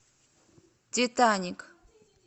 титаник